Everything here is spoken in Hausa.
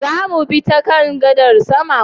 Zamu bi ta kan gadar sama?